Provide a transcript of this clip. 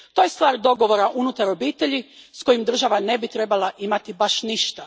To je stvar dogovora unutar obitelji s kojim država ne bi trebala imati baš ništa.